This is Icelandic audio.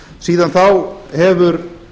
síðan þá hefur